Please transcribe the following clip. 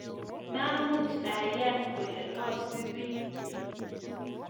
Mamuch ayaan kole asubii nii